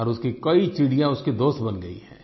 और उसकी कई चिड़िया उसकी दोस्त बन गई है